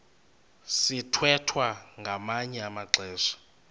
sithwethwa ngamanye amaxesha